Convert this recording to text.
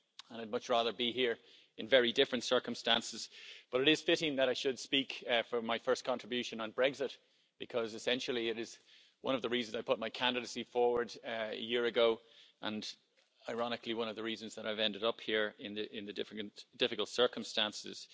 I'd much rather be here in very different circumstances, but it is fitting that I should speak, for my first contribution, on Brexit, because essentially it is one of the reasons I put my candidacy forward a year ago and, ironically, one of the reasons that I've ended up here in the difficult circumstances.